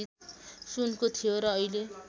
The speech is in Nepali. सुनको थियो र अहिले